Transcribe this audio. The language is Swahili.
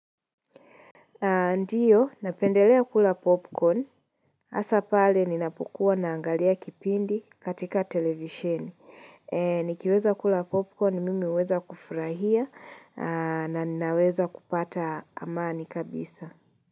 Ndiyo, napendelea kula popcorn. Hasa pale, ninapokuwa naangalia kipindi katika televisheni. Nikiweza kula popcorn, mimi huweza kufurahia na ninaweza kupata amani kabisa.